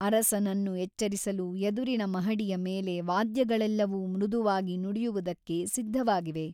ಅರಸನನ್ನು ಎಚ್ಚರಿಸಲು ಎದುರಿನ ಮಹಡಿಯ ಮೇಲೆ ವಾದ್ಯಗಳೆಲ್ಲವೂ ಮೃದುವಾಗಿ ನುಡಿಯುವುದಕ್ಕೆ ಸಿದ್ಧವಾಗಿವೆ.